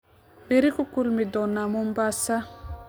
Berri ku kulmi doona Mombasa.